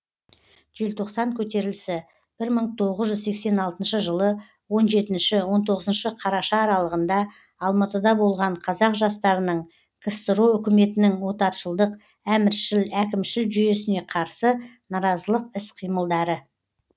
желтоқсан көтерілісі мың тоғыз жүз сексен алтыншы жылы он жетінші он тоғызыншы қараша аралығында алматыда болған қазақ жастарының ксро үкіметінің отаршылдық әміршіл әкімшіл жүйесіне қарсы наразылық іс қимылдары